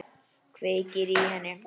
Kveikir í henni.